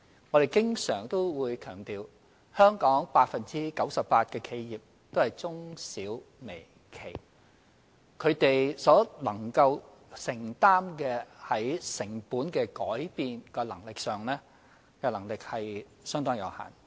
我們經常強調，香港 98% 的企業也是中小微企，他們承擔成本改變的能力相當有限。